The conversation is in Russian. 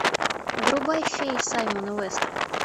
врубай феи саймона уэста